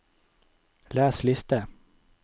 les liste